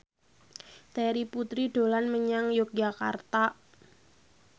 Terry Putri dolan menyang Yogyakarta